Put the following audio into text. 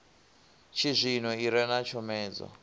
tshizwino i re na tshomedzo